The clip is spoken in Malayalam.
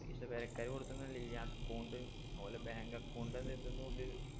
പൈസ പെരക്കാര് കൊടുത്തൊന്നുല്ല ഈ account ഓലെ bank account ഇതിന്നോല്